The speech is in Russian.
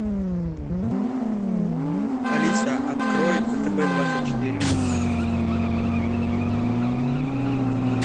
алиса открой втб двадцать четыре